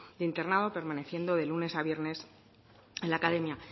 de internado permaneciendo de lunes a viernes en la academia